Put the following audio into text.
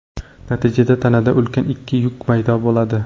Natijada tanada ulkan ikki yuk paydo bo‘ladi.